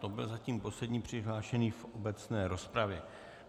To byl zatím poslední přihlášený v obecné rozpravě.